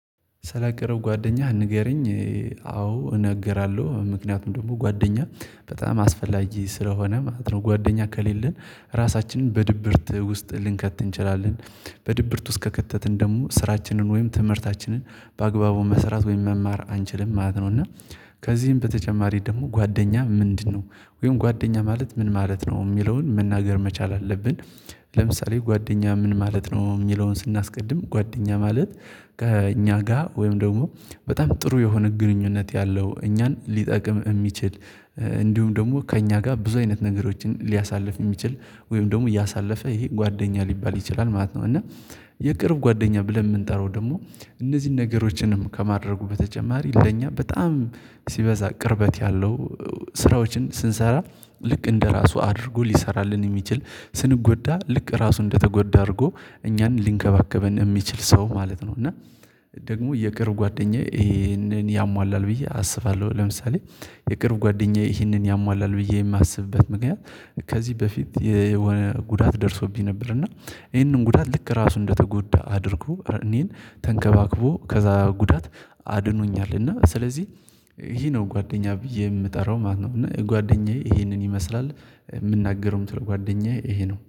ስለቅርብ ጓደኛህ ንገረኝ አዎ እናገራለሁ ምክንያቱም ደግሞ ጓደኛ በጣም አስፈላጊ ስለሆነ ማለት ነው። ጓደኛ ከሌለን ራሳችንን በድብርት ውስጥ ልንከት እንችላለን። በድብርት ውስጥ ከከተትን ደግሞ ስራችንን ወይም ትምህርታችንን በአግባቡ መስራት ወይም መማር አንችልም ማለት ነው። እና ከዚህም በተጨማሪ ደግሞ ጓደኛ ምንድነው ወይም ጓደኛ ማለት ምን ማለት ነው? የሚለውን መናገር መቻል አለብን። ለምሳሌ ጓደኛ ምን ማለት ነው? የሚለውን ስናስቀድም ጓደኛ ማለት ከእኛ ጋር ወይም ደግሞ በጣም ጥሩ የሆነ ግንኙነት ያለው እኛን ሊጠቅም የሚችል። እንዲሁም ደግሞ ከእኛ ጋር ብዙ አይነት ነገሮችን ሊያሳልፍ የሚችል ወይም ደግሞ ያሳለፈ ይህ ጓደኛ ሊባል ይችላል ማለት ነው። እና የቅርብ ጓደኛ ብለን የምንጠራው ደግሞ እነዚህን ነገሮችንም ከማድረጉ በተጨማሪ ለእኛ በጣም ሲበዛ ቅርበት ያለው። ስራዎችን ስንሰራ ልክ እንደራሱ አድርጎ ሊሰራልን የሚችል ስንጎዳ ልክ ራሱ እንደተጎዳ አድርጎ እኛን ሊንከባከበን የሚችል ሰው ማለት ነው። እና ደግሞ የቅርብ ጓደኛዬ ይሄንን ያሟላል ብዬ አስባለሁ። ለምሳሌ የቅርብ ጓደኛዬ ይሄንን ያሟላል ብዬ የማስብበት ምክንያት። ከዚህ በፊት የሆነ ጉዳት ደርሶብኝ ነበር። እና ይሄንን ጉዳት ልክ ራሱ እንደተጎዳ አድርጉ እኔን ተንከባክቦ ከዛ ጉዳት አድኖኛል። እና ስለዚህ ይህ ነው ጓደኛ ብዬ የምጠራው ማለት ነው። እና ጓደኛዬ ይሄንን ይመስላል የምናገረውም ጓደኛዬ ይሄ ነው